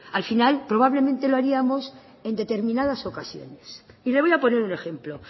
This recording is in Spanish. al final probablemente lo haríamos en determinadas ocasiones y le voy a poner un ejemplo